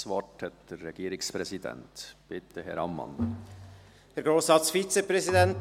Das Wort hat der Regierungspräsident, bitte Herr Ammann.